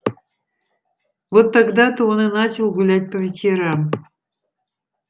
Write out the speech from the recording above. вот тогда то он и начал гулять по вечерам